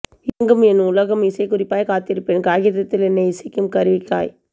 இயங்கும் என் உலகம் இசைக்குறிப்பாய் காத்திருப்பேன் காகிதத்தில் என்னை இசைக்கும் கருவிக்காய்